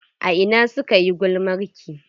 A ina suka yi gulmarki?